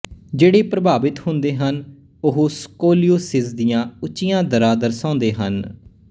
ਜਿਹੜੇ ਪ੍ਰਭਾਵਿਤ ਹੁੰਦੇ ਹਨ ਉਹ ਸਕੋਲੀਓਸਿਸ ਦੀਆਂ ਉੱਚੀਆਂ ਦਰਾਂ ਦਰਸਾਉਂਦੇ ਹਨ